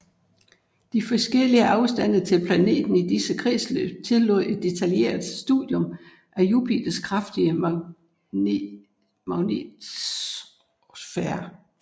De forskellige afstande til planeten i disse kredsløb tillod et detaljeret studium af Jupiters kraftige magnetosfære